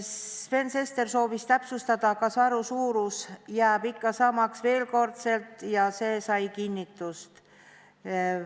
Sven Sester soovis veel kord täpsustada, kas varu suurus jääb ikka samaks, ja see sai kinnitust.